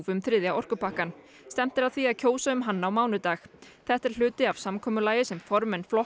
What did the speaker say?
um þriðja orkupakkann stefnt er að því að kjósa um hann á mánudag þetta er hluti af samkomulagi sem formenn flokka